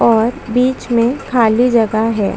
और इधर वाले पक्ष में औरते बैठी हुई दिखाई दे रही है।